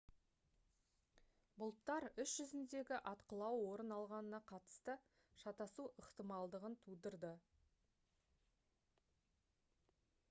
бұлттар іс жүзіндегі атқылау орын алғанына қатысты шатасу ықтималдығын тудырды